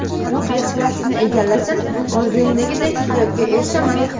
Qaysi kasbni egallasam, orzumdagidek hayotga erishaman?